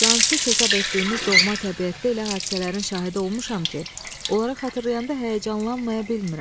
Cansız hesab etdiyimiz doğma təbiətdə elə hadisələrin şahidi olmuşam ki, onları xatırlayanda həyəcanlanmaya bilmirəm.